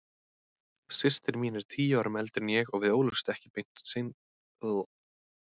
Systir mín er tíu árum eldri en ég og við ólumst ekki beinlínis upp saman.